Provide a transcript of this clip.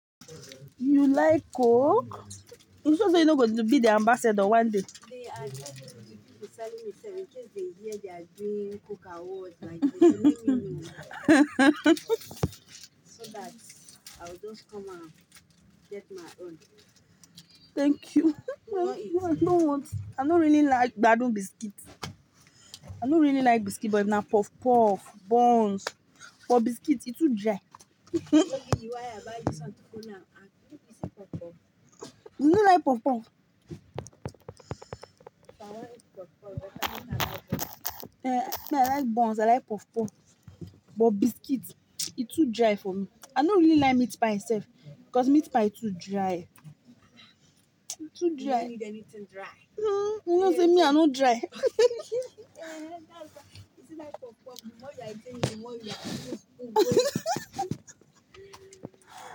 You like Coke? It's just that you're not going to be the ambassador one day. They are just deciding itself. In case they hear they are doing Coke awards like- so that I will just come and get my own. Thank you. You want it? No, I don't want. I don't really like Bado biscuit. I don't really like biscuit, but now puff puff, buns. But biscuit, it too dry. Maybe you why I buy you something now. And you no like the puff puff. You no like puff puff? If I want eat puff puff, better make I like it. Eh, me, I like buns, I like puff puff. But biscuit, it too dry for me. I don't really like meat pie itself, 'cause meat pie too dry. Too dry. You don't eat anything dry. Me I no dry. Yeah, that's why. You see that puff puff, the more you are eating, the more you are-